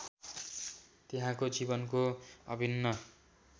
त्यहाँको जीवनको अभिन्न